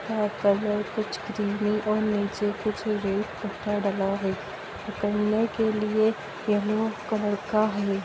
का कलर कुछ क्रीमी और नीचे कुछ रेड डला है उतरने के लिए येलो कलर का है।